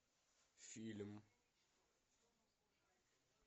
фильм